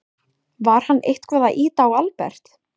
Var hann eitthvað að ýta á Albert?